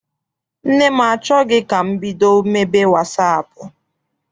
Nne m achọghị ka m bido mebe wasaapụ.